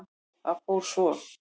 Það fór svo.